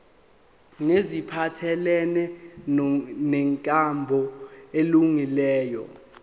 neziphathelene nenkambo elungileyo